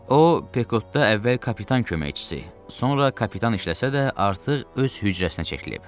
O Pekodda əvvəl kapitan köməkçisi, sonra kapitan işləsə də, artıq öz hücrəsinə çəkilib.